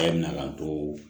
E bɛna too